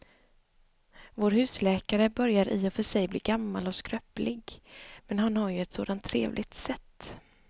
Vår husläkare börjar i och för sig bli gammal och skröplig, men han har ju ett sådant trevligt sätt!